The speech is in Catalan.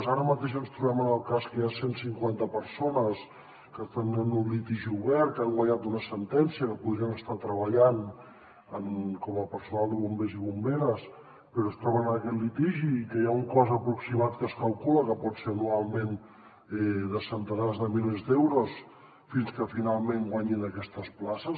ara mateix ens trobem amb el cas que hi ha cent cinquanta persones que tenen un litigi obert que han guanyat una sentència que podrien estar treballant com a personal de bombers i bomberes però es troben en aquest litigi i que hi ha un cost aproximat que es calcula que pot ser anualment de centenars de milers d’euros fins que finalment guanyin aquestes places